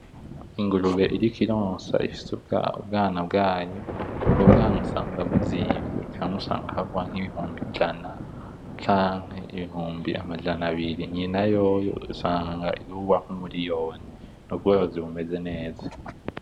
Ingurube iriko ironsa ifise ubwana bwayo , ubwo bwana usanga buzimvye , kamwe usanga kagurwa nk'ibihumbi ijana canke ibihumbi amajana abiri , nyina yoyo usanga igurwa nk'umuliyoni, n'ubworozi bumeze neza.